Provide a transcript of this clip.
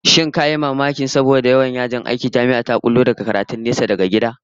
Ko ka yi mamakin cewa saboda kaucewa yawan yajin aiki, Jami'ar zata bullo da tsarin karatun nesa daga gida?